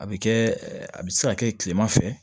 A bɛ kɛ a bɛ se ka kɛ kilema fɛ